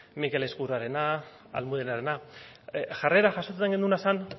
mikel ezkurrarena almudenarena jarrera jasotzen genuena zen